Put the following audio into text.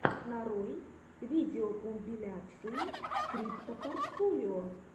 нарой видеокомпиляции криптопортфолио